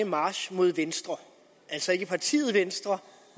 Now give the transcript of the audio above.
march mod venstre altså ikke partiet venstre